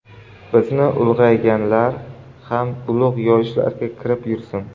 Bizni ulug‘laganlar ham ulug‘ yoshlarga kirib yursin!”.